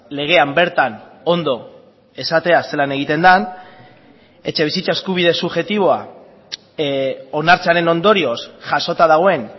legean bertan ondo esatea zelan egiten den etxebizitza eskubide subjektiboa onartzearen ondorioz jasota dagoen